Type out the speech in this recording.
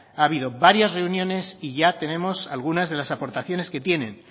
ha habido varias reuniones y ya tenemos algunas de las aportaciones que tienen